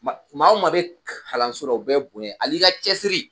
Ma maa o maa bɛ kalanso la u bɛɛ bonya hal'i ka cɛsiri